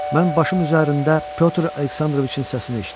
Mən başım üzərində Pytor Aleksandroviç-in səsini eşitdim.